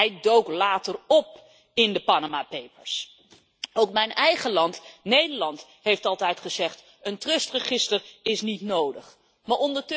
Hij dook later op in de Panama Papers. Ook mijn eigen land, Nederland, heeft altijd gezegd dat een trustregister niet nodig is.